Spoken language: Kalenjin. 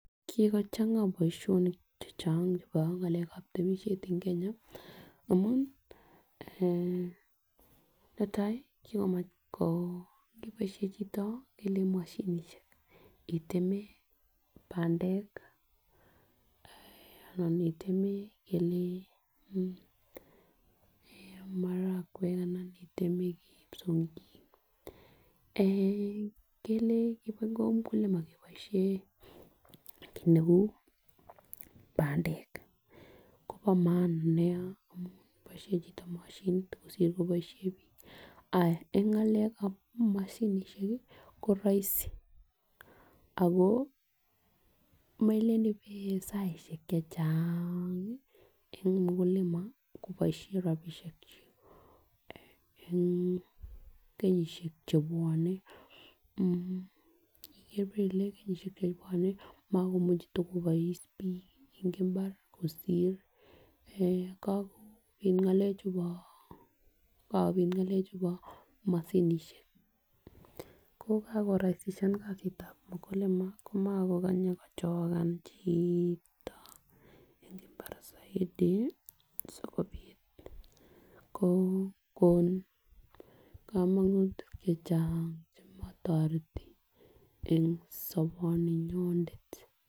Kikochanga boishonik chechang chebo mgalekab temishet en Kenya amun eeh, netai kikomavh ko niboishen choto ngele moshinishek itemen pandek ana itemen ngele eh marakwek anan item kipsomhik eh ngele komokongen mukulima keboishen kit neu pandek kobo maanan Nia amun boishoni chito moshinit kosir bik, en ngalekab moshinishek ko roisi melen ibe saishek chechang nia en mukulima kiboishen rabishek chik en kenyoshek chebwone mmh ibore ikere kenyoshek chebwone mokomuche tokobois bik en imbar kosir en kakopit ngalek chubo chubo moshinishek ko kakoraisishan kasitab mukulima komokokonye kochoka chito en imbar soiti sikopit ko kokon komonutik chechang chemotoreti en soboninyonet.